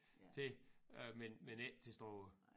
Til øh men men ikke til Struer